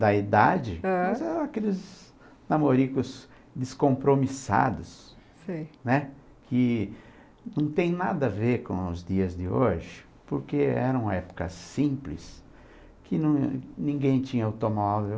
da idade, ãh, mas eram aqueles namoricos descompromissados, sei, né, que não tem nada a ver com os dias de hoje, porque era uma época simples, que ninguém tinha automóvel,